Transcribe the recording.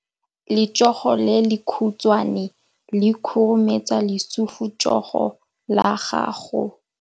Letsogo le lekhutshwane le khurumetsa lesufutsogo la gago.